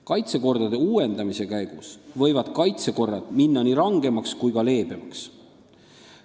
Kaitsekordade uuendamise käigus võivad kaitsekorrad minna nii rangemaks kui ka leebemaks.